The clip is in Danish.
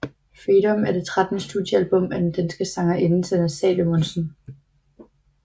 Freedom er det trettende studiealbum af den danske sangerinde Sanne Salomonsen